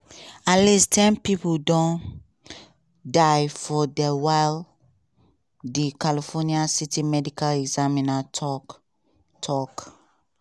at least ten pipo don die for di wildfires di california city medical examiner tok. tok.